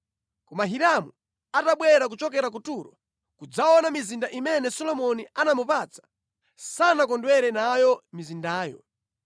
Koma Hiramu atabwera kuchokera ku Turo kudzaona mizinda imene Solomoni anamupatsa, sanasangalatsidwe nayo mizindayo.